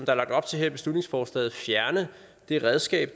er lagt op til her i beslutningsforslaget fjerne det redskab